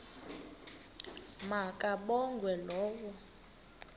ma kabongwe low